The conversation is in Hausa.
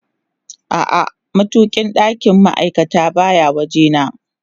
A'a, matukin ɗakin ma'aikata baya waje na